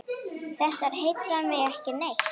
Þetta heillar mig ekki neitt.